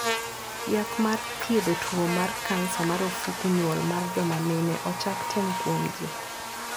Yath mar thiedho tuo mar kansa mar ofuku nyuol mar joma mine ochak tem kuomji.